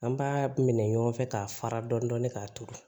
An b'a minɛ ɲɔgɔn fɛ k'a fara dɔɔnin k'a turu